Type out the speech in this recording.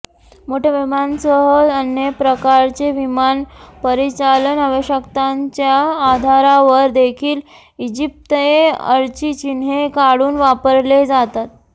मोठ्या विमानांसह अन्य प्रकारचे विमान परिचालन आवश्यकतांच्या आधारावर देखील इजिप्तएअरची चिन्हे काढून वापरले जातात